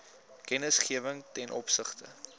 kennisgewing ten opsigte